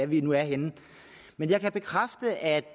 vi nu er henne men jeg kan bekræfte at